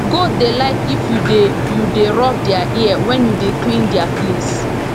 goat dey like if you dey you dey rub their ear wen you dey clean their place